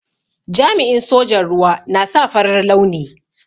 Jami'in sojan ruwa na sa farar launi.